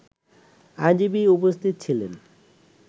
আইনজীবী উপস্থিত ছিলেন